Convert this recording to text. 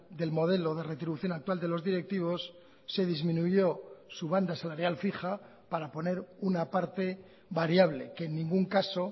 del modelo de retribución actual de los directivos se disminuyó su banda salarial fija para poner una parte variable que en ningún caso